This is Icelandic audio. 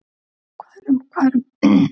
Hvað eru margar eyjar í heiminum?